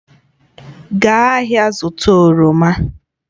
Gaa ahịa zụta oroma